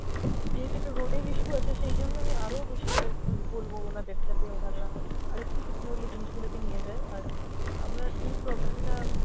যেহেতু একটা road এর issue আছে সেই জন্য আমি আরো বেশি ওদেরকে বলবো ওনাদের যাতে ওনারা আরেকটু securely জিনিসগুলোকে নিয়ে যায় আর আহ আপনার এই problem টা,